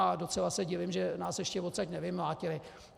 A docela se divím, že nás ještě odsud nevymlátili.